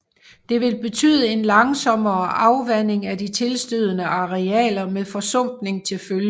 Det vil betyde en langsommere afvanding af de tilstødende arealer med forsumpning til følge